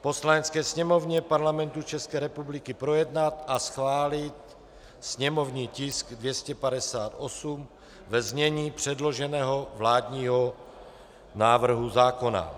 Poslanecké sněmovně Parlamentu České republiky projednat a schválit sněmovní tisk 258 ve znění předloženého vládního návrhu zákona.